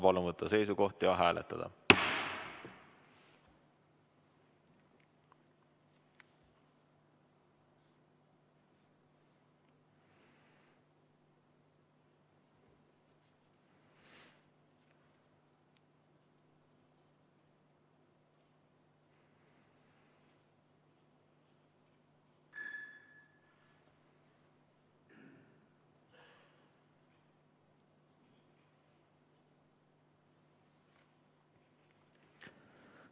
Palun võtta seisukoht ja hääletada!